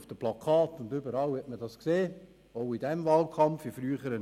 auf Plakaten konnte man ihn überall sehen.